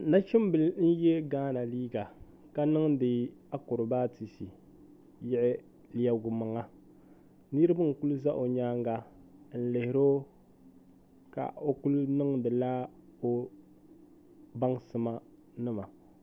nachimbila n ye ghana liiga ka niŋdi akuribaatisi yiɣi lebigimaŋa niriba n kuli za o nyaanga n lihiri o ka o kuli niŋdila o baŋsima